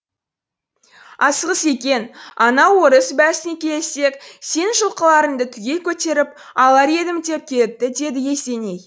асығыс екен анау орыс бәсіне келіссек сенің жылқыларыңды түгел көтеріп алар едім деп келіпті деді есеней